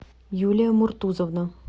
юлия муртузовна